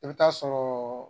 NI bɛ ta'a sɔrɔ